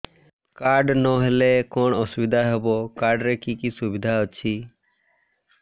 card ନହେଲେ କଣ ଅସୁବିଧା ହେବ କାର୍ଡ ରେ କି କି ସୁବିଧା ଅଛି